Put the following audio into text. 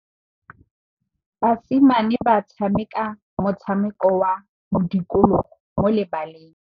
Basimane ba tshameka motshameko wa modikologô mo lebaleng.